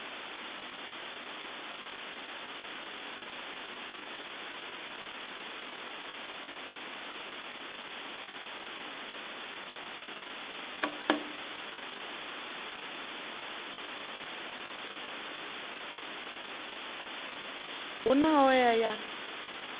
hu na hoea ya u